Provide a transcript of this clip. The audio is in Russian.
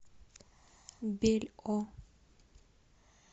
бельо